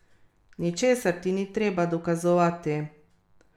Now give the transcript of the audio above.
Ničesar ti ni treba dokazovati.